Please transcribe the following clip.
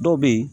Dɔw bɛ yen